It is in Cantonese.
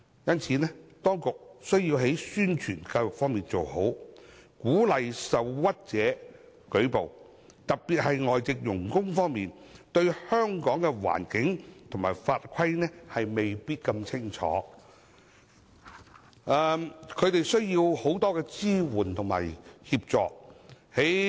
因此，當局需要做好宣傳教育，鼓勵受屈者舉報，特別是外籍傭工對香港的環境和法規未必很清楚，需要很多支援和協助。